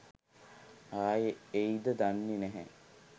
ආයේ එයිද දන්නෙ නැහැ.